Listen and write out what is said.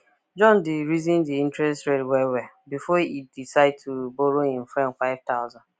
john de reason the interest rate well well before e decide to borrow him friend 5000